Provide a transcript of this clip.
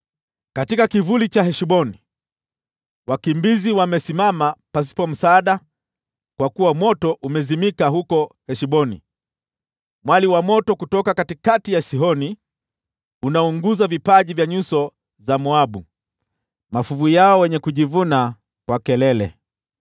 “Katika kivuli cha Heshboni, wakimbizi wamesimama pasipo msaada, kwa kuwa moto umezimika huko Heshboni, mwali wa moto kutoka katikati ya Sihoni; unaunguza vipaji vya nyuso za Moabu, mafuvu yao wenye kujivuna kwa kelele.